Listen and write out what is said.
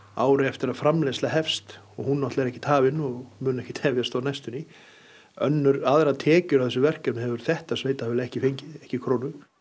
ári eftir að framleiðsla hefst og hún náttúrulega er ekkert hafin og mun ekkert hefjast á næstunni aðrar tekjur af þessu verkefni hefur þetta sveitarfélag ekki fengið ekki krónu